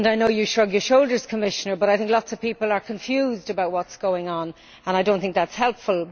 You may shrug your shoulders, Commissioner, but I think lots of people are confused about what is going on, and I do not think that is helpful.